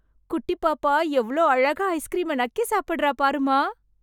குட்டி பாப்பா எவ்ளோ அழகா ஐஸ்க்ரீமை நக்கி சாப்டறா பாரும்மா...